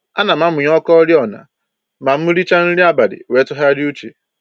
Ana m amụnye ọkụ oriọna ma m richa nri abalị wee tụgharịa uche